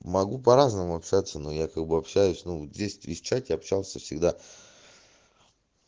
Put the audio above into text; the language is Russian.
могу по-разному общаться но я как бы общаюсь но в десять тысяч чате общался всегда